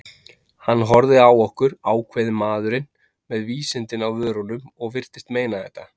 Hann horfði á okkur, ákveðinn maðurinn, með vísindin á vörunum- og virtist meina þetta.